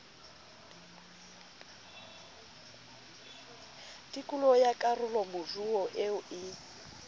tikolo ya karolomoruo eo e